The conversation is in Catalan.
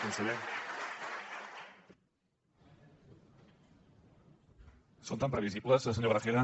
són tan previsibles senyor gragera